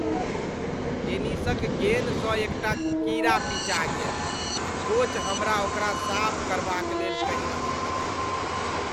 टेनिसक गेन सँ एकटा कीड़ा पिचा गेल आ कोच हमरा ओकरा साफ करबाक लेल कहि रहल छथि।